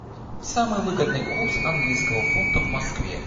самый выгодный курс английского фунта в москве